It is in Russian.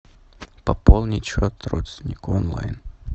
пополнить счет родственнику онлайн